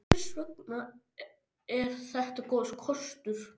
En hvers vegna er þetta góður kostur?